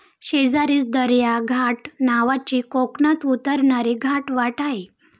शेजारीच दर्या घाट नावाची कोकणात उतरणारी घाटवाट आहे.